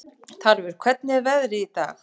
Tarfur, hvernig er veðrið í dag?